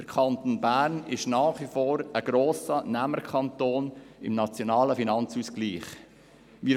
Der Kanton Bern ist nach wie vor ein grosser Nehmerkanton im Nationalen Finanzausgleich (NFA).